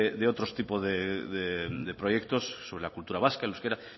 de otros tipos de proyectos sobre la cultura vasca el euskera